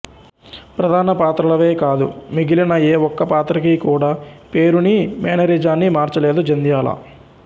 ప్రధాన పాత్రలవే కాదు మిగిలిన ఏ ఒక్క పాత్రకీ కూడా పేరునీ మేనరిజాన్నీ మార్చలేదు జంధ్యాల